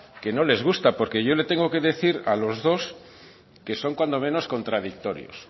que no les gusta porque yo le tengo que decir a los dos que son cuanto menos contradictorios